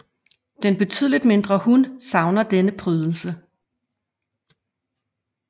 Den betydeligt mindre hun savner denne prydelse